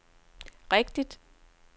rigtigt